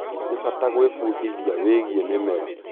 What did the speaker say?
Nĩ bata gwĩbundithia wĩgie mĩmera.